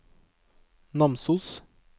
Namsos